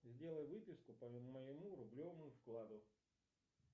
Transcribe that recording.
сделай выписку по моему рублевому вкладу